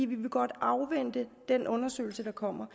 vi vil godt afvente den undersøgelse der kommer